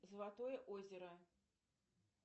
золотое озеро